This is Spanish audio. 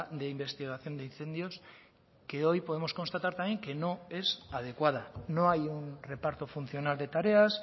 de investigación de incendios que hoy podemos constatar también que no es adecuada no hay un reparto funcional de tareas